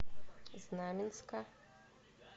знаменска